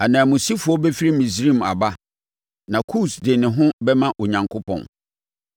Ananmusifoɔ bɛfiri Misraim aba, na Kus de ne ho bɛma Onyankopɔn.